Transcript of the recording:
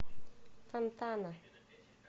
фонтана